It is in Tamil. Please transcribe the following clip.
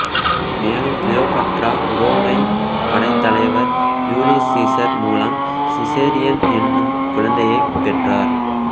மேலும் கிளியோபாட்ரா உரோமைப் படைத்தலைவர் ஜூலியஸ் சீசர் மூலம் சிசேரியன் எனும் குழந்தையைப் பெற்றார்